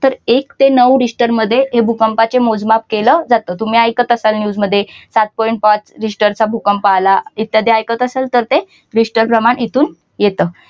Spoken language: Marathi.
तर एक ते नऊ रिश्टर मध्ये हे भूकंपाचे मोजमाप केलं जात तुम्ही ऐकत असाल news मध्ये सात point पाच रिश्टरचा भूकंप आला इत्यादी ऐकत असाल तर ते रिस्टर प्रमाण इथून येतं.